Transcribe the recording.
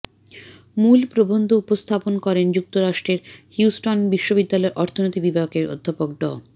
মূল প্রবন্ধ উপস্থাপন করেন যুক্তরাষ্ট্রের হিউস্টন বিশ্ববিদ্যালয়ের অর্থনীতি বিভাগের অধ্যাপক ড